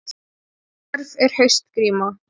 Hverf er haustgríma